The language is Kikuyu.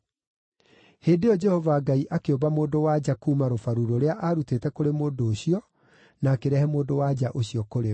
Hĩndĩ ĩyo Jehova Ngai akĩũmba mũndũ-wa-nja kuuma rũbaru rũrĩa aarutĩte kũrĩ mũndũ ũcio na akĩrehe mũndũ-wa-nja ũcio kũrĩ we.